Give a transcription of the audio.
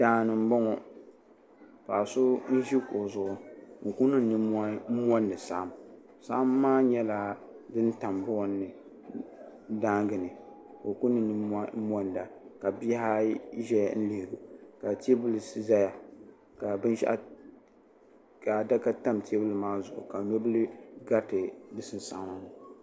Daani m boŋɔ ka so ʒi kuɣu zuɣu n kuli niŋ ninmohi mondi saɣim saɣim maa nyɛla din tam buɣim ni daanga ni ka o kuli niŋ ninmohi monda ka bihi ayi ʒɛya n lihili o ka teebuli zaya ka adaka tam teebuli maa zuɣu ka nobila gariti di sinsaɣama ni.